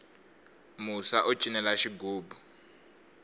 musa u cinela xigubu